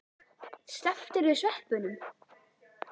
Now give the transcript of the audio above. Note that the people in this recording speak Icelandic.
Slepptirðu sveppunum?